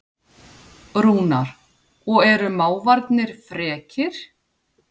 Rúnar: Og eru mávarnir frekir?